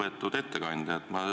Lugupeetud ettekandja!